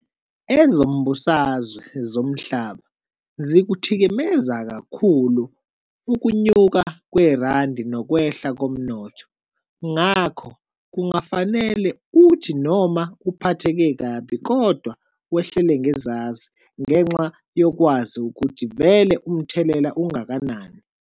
Ezombusazwe zomhlaba zikuthikimeza kakhulu ukunyuka kwerandi nokwehla komnotho ngakho kungafanele uthi noma uphatheke kabi kodwa wehlele ngezazi ngenxa yokwazi ukuthi vele umthelela ungakanani.